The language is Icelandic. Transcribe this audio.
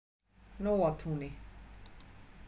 Nóatúni